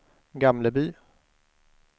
Gamleby